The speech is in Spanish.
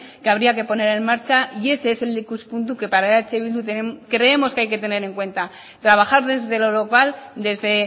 que habría que poner en marcha y ese es el ikuspuntu que para eh bildu creemos que hay que tener en cuenta trabajar desde lo global desde